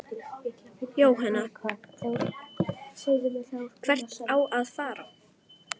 Jóhann: Hvert á að fara?